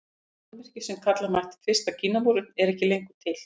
Þetta mannvirki sem kalla mætti fyrsta Kínamúrinn er ekki lengur til.